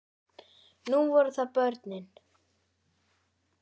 Nú voru það börnin.